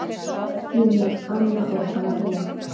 Þínar Anna og María.